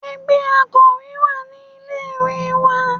Ẹgbẹ́ Akòwé wà ní ilé ìwé mi.